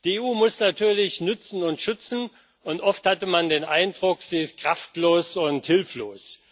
Die EU muss natürlich nützen und schützen, und oft hatte man den Eindruck, sie ist kraftlos und hilflos.